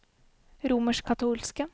romerskkatolske